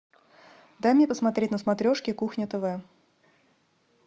дай мне посмотреть на смотрешке кухня тв